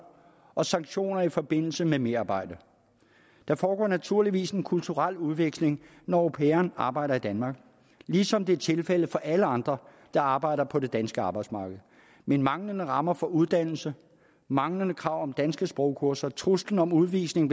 og sanktioner i forbindelse med merarbejde der foregår naturligvis en kulturel udveksling når au pairen arbejder i danmark ligesom det er tilfældet for alle andre der arbejder på det danske arbejdsmarked men manglende rammer for uddannelse manglende krav om danske sprogkurser og truslen om udvisning